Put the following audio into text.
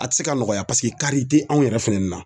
A te se ka nɔgɔya paseke kari te anw yɛrɛ fɛnɛ na